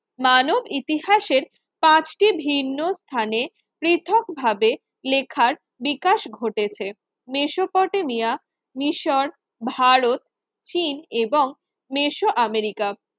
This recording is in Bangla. মানব ইতিহাসের পাঁচটি ভিন্ন স্থানে পৃথকভাবে লেখার বিকাশ ঘটেছে, মেসোপটেমিয়া মিশর, ভারত, চীন এবং মেসো আমেরিকা